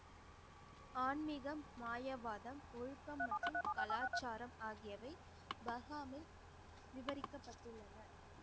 ஆன்மிகம், மாயவாதம், ஒழுக்கம் மற்றும் கலாச்சாரம் ஆகியவை பகாமில் விவரிக்கப்பட்டுள்ளன